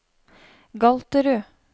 Galterud